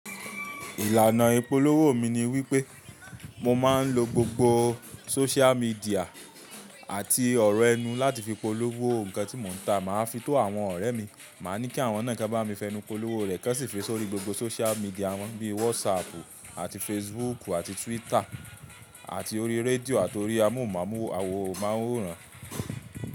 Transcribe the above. Ìlànà ìpolówó mi ni wípé mo máa ń lo gbogbo sóciál midià àti ọ̀rọ̀ ẹnu láti fi polówó ǹkan tí mò ń tà. Máa fi tó àwọn ọ̀rẹ́ mi, màá ní kí àwọn náà kí bá mi fẹnu polówó rẹ̀ kan sì fi sórí gbogbo social media won bí Watsapp àti Facebook àti Twitter àti orí radio àti orí amóhùnmáwòrán.